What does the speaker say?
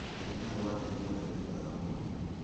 Ndagĩtarĩ wake nĩ mũndũrũme mwega mũno